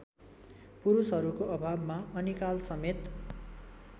पुरुषहरूको अभावमा अनिकालसमेत